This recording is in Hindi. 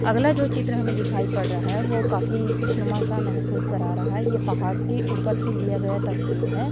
अगला जो चित्र हमें दिखाई पड़ रहा है वो काफी खुशनुमा सा महसूस कर रहा है ये पहाड़ के ऊपर से लिया गया तस्वीर है।